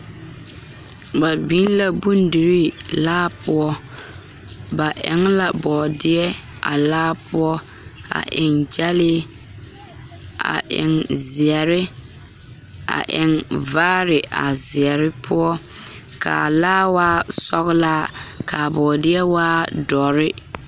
Ba biŋ la bondirii laa poɔ ba eŋ la bɔɔdeɛ a laa poɔ a eŋ gyɛlee a eŋ zeɛre a eŋ vaare a zeɛre poɔ k,a laa waa sɔglaa k,a bɔɔdeɛ waa dɔre.